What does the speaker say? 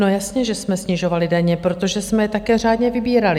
No jasně, že jsme snižovali daně, protože jsme je také řádně vybírali.